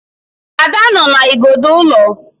Ada nọ na igodo ụlọ